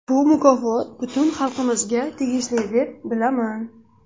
Bu mukofot butun xalqimizga tegishli, deb bilaman”.